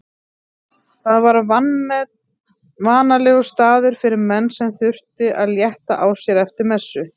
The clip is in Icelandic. Það var vanalegur staður fyrir menn sem þurftu að létta á sér eftir messu.